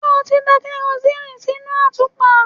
Ṣé o ti da karosíìnì sínú àtùpà?